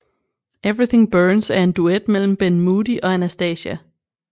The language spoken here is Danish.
Everything Burns er en duet mellem Ben Moody og Anastacia